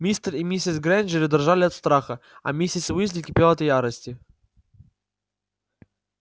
мистер и миссис грэйнджеры дрожали от страха а миссис уизли кипела от ярости